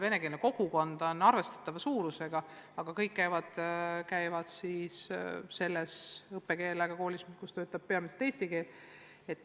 Venekeelne kogukond on arvestatava suurusega, aga kõik lapsed käivad koolis, kus töötatakse peamiselt eesti keeles.